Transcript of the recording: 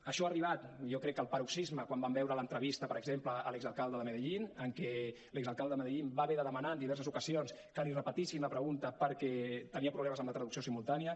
això ha arribat jo crec que al paroxisme quan vam veure l’entrevista per exemple a l’exalcalde de medellín en què l’exalcalde de medellín va haver de demanar en diverses ocasions que li repetissin la pregunta perquè tenia problemes amb la traducció simultània